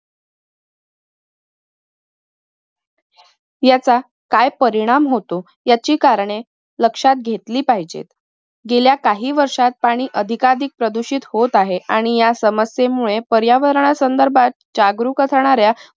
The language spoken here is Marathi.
यांचा काय परिणाम होती याची करणे लक्ष्यात घेतली पाहिजेत. गेल्या काही वर्षात पाणी अधिकाधिक प्रदूषित होत आहे आणि या समस्येमुळे पर्यावरणा संदर्भात जागरूक असणाऱ्या